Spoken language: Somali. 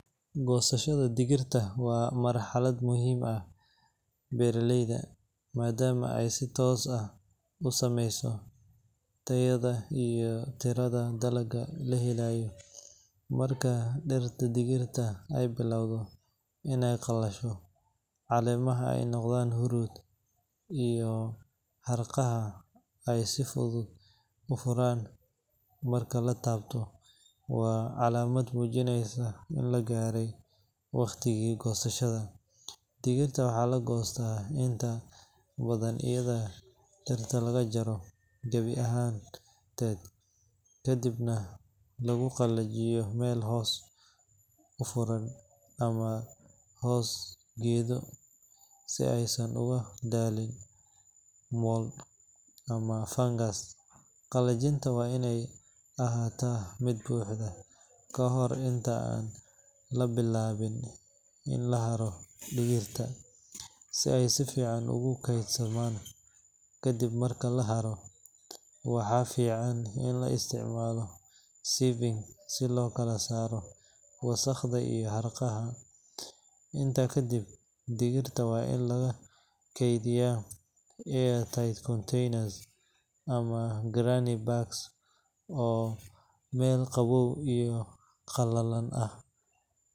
Goosashada digirta waa marxalad muhiim u ah beeraleyda maadaama ay si toos ah u saameyso tayada iyo tirada dalagga la helayo. Marka dhirta digirta ay bilowdo inay qalasho, caleemaha ay noqdaan huruud, iyo harqaha ay si fudud u furaan marka la taabto, waa calaamad muujinaysa in la gaaray waqtigii goosashada. Digirta waxaa la goostaa inta badan iyadoo dhirta laga jaro gabi ahaanteed, kadibna lagu qallajiyo meel hoos u furan ama hoos geedo si aysan uga dhalan mold ama fungus. Qallajinta waa inay ahaataa mid buuxda ka hor inta aan la bilaabin in la haro digirta, si ay si fiican ugu kaydsamaan. Ka dib marka la haro, waxaa fiican in la isticmaalo sieving si loo kala saaro wasakhda iyo harqaha. Intaa kadib, digirta waa in lagu kaydiyaa airtight containers ama gunny bags oo meel qabow iyo qalalan ah.